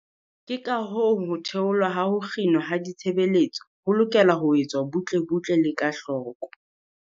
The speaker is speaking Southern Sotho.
Ke kahoo ho theolwa ha ho kginwa ha ditshebeletso ho lokela ho etswa butle-butle le ka hloko.